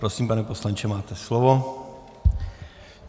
Prosím, pane poslanče, máte slovo.